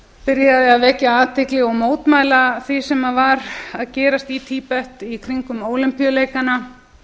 byrjaði að vekja athygli og mótmæla því sem var að gerast í tíbet í kringum ólympíuleikana